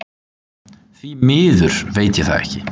Því miður veit ég það ekki